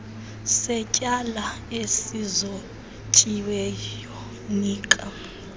setyala esizotyiweyo nika